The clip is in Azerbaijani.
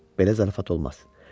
Belə zarafat olmaz.